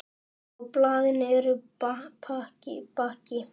Á blaðinu er bakki.